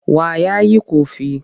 Wa ya yi ƙofi?